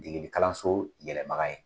Degeli kalanso yɛlɛbaga ye.